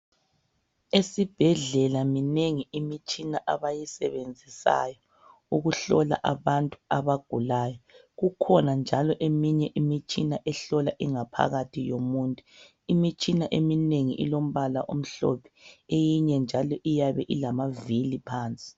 esibhedlela minengi imitshina abayisebenzisayo ukuhlola abantu abagulayo kukhona njalo eminye imitshina ehlola ingaphakathi yomuntu imitshina eminengi ilombala omhlophe eyinye njalo iyabe ilamavili phansi